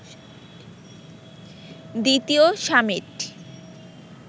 দ্বিতীয় সামিট